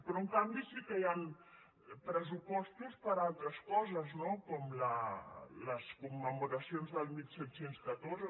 però en canvi sí que hi han pressupostos per a altres coses no com les commemoracions de disset deu quatre